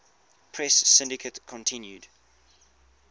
press syndicate continued